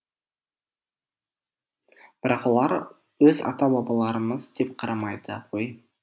бірақ олар өз ата бабаларымыз деп қарамайды ғой